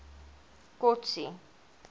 kotsi